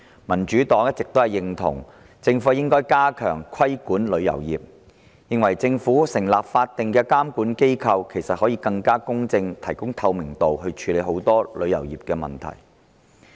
民主黨一直認同政府應加強規管旅遊業，並認為政府成立法定監管機構，以便以更公正及更具透明度的手法，處理旅遊業的很多問題。